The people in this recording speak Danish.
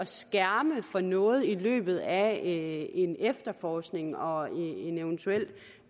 skærme for noget i løbet af en efterforskning og en eventuel